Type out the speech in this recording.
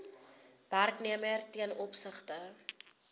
werknemer ten opsigte